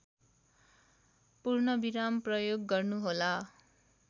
पूर्णविराम प्रयोग गर्नुहोला